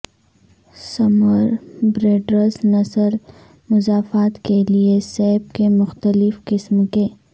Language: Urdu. سمر بریڈرس نسل مضافات کے لئے سیب کے مختلف قسم کے